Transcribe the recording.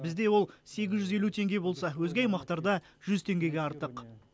бізде ол сегіз жүз елу теңге болса өзге аймақтарда жүз теңгеге артық